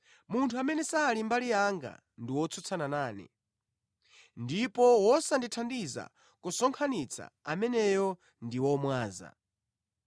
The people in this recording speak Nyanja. “Munthu amene sali mbali yanga ndi wotsutsana nane. Ndipo wosandithandiza kusonkhanitsa, ameneyo ndi womwaza.